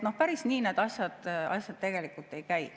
Päris nii need asjad tegelikult ei käi.